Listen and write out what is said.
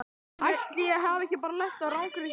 Ætli ég hafi ekki bara lent á rangri hillu.